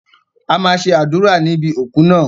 A máa ṣe àdúrà níbi òku náà.